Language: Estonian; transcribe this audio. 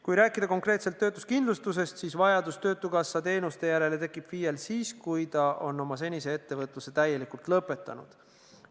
Kui rääkida konkreetselt töötuskindlustusest, siis vajadus töötukassa teenuste järele tekib FIE-l siis, kui ta on oma senise ettevõtluse täielikult lõpetanud.